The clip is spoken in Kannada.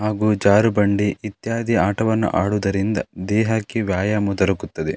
ಹಾಗು ಜಾರುಬಂಡಿ ಇತ್ಯಾದಿ ಆಟವನ್ನು ಆಡುವುದರಿಂದ ದೇಹಕ್ಕೆ ವ್ಯಾಯಾಮ ದೊರಕುತ್ತದೆ.